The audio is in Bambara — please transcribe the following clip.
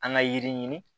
An ka yiri ɲini